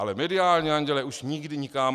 Ale mediální andělé už nikdy nikam.